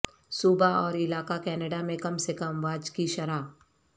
صوبہ اور علاقہ کینیڈا میں کم سے کم واج کی شرح